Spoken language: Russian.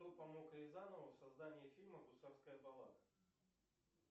кто помог рязанову в создании фильма гусарская баллада